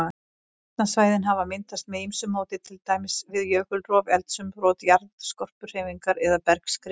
Vatnsstæðin hafa myndast með ýmsu móti, til dæmis við jökulrof, eldsumbrot, jarðskorpuhreyfingar eða bergskrið.